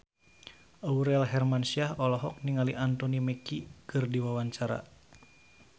Aurel Hermansyah olohok ningali Anthony Mackie keur diwawancara